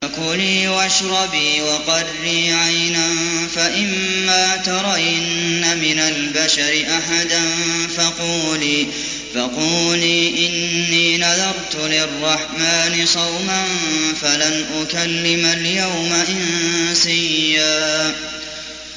فَكُلِي وَاشْرَبِي وَقَرِّي عَيْنًا ۖ فَإِمَّا تَرَيِنَّ مِنَ الْبَشَرِ أَحَدًا فَقُولِي إِنِّي نَذَرْتُ لِلرَّحْمَٰنِ صَوْمًا فَلَنْ أُكَلِّمَ الْيَوْمَ إِنسِيًّا